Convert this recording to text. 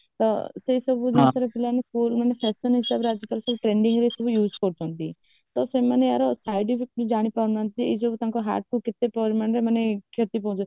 ତ ସେ ସବୁ ବିଷୟରେ ପିଲାମାନେ ସବୁ ପୁଅମାନେ fashion ହିସାବରେ ଆଜି ସବୁ ଗୁଡକୁ ବି use କରୁଛନ୍ତି ତ ସେମାନେ ୟାର side effectସବୁ ଜାଣିପାରୁନାହାନ୍ତି ଏଇ ଯୋଉ ତାଙ୍କର heart ପାଇଁ କେତେ ପରିମାଣରେ ମାନେ କ୍ଷତି ପାହାଞ୍ଚାଏ